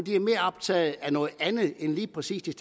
er mere optaget af noget andet end lige præcis de